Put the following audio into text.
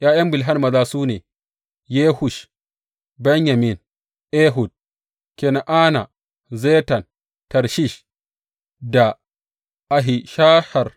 ’Ya’yan Bilhan maza su ne, Yewush, Benyamin, Ehud, Kena’ana, Zetan, Tarshish da Ahishahar.